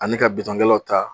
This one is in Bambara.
Ani ka bitɔnkɛlaw ta